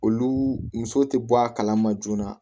Olu musow tɛ bɔ a kalama joona